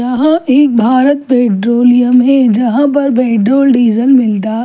यहा एक भारत पट्रोलीअम हैजहा पेट्रोल डीजल मिलता --